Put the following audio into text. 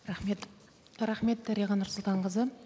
рахмет рахмет дариға нұрсұлтанқызы